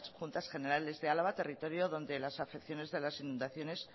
juntas generales de álava territorio donde las afecciones de las inundaciones